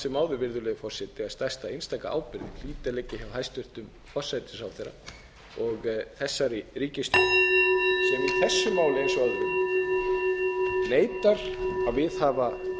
sem áður virðulegi forseti að stærsta einstaka ábyrgðin hljóti að liggja hjá hæstvirtum forsætisráðherra og þessari ríkisstjórn sem í þessu máli eins og öðrum neitar að viðhafa vönduð vinnubrögð